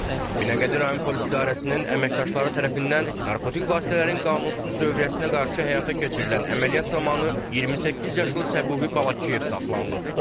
Binəqədi rayon Polis İdarəsinin əməkdaşları tərəfindən narkotik vasitələrin qanunsuz dövriyyəsinə qarşı həyata keçirilən əməliyyat zamanı 28 yaşlı Səbuhi Balakişiyev saxlanılıb.